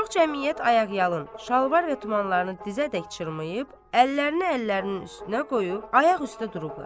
Çox cəmiyyət ayaqyalın, şalvar və tumanlarını dizədək çırmayıb, əllərini əllərinin üstünə qoyub ayaq üstə durublar.